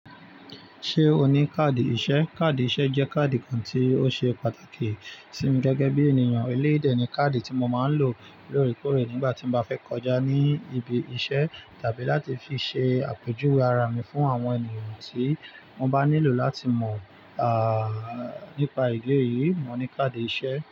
Ṣé o ní káàdì iṣẹ́? Káàdì iṣẹ́ jẹ́ káàdì kan tí ó ṣe pàtàkì sí mi gẹ́gẹ́ bí ènìyàn eleyi de ni káàdì tí mo máa ń lò lórí kórè nígbà tí mo bá fẹ́ kọjá ní ibi iṣẹ́ tàbí láti fi ṣe àpèjúwe ara mi fún àwọn ènìyàn tí wọ́n bá nílò láti mọ̀, nípa ìdí eyìí. Mo ní káàdì iṣẹ́.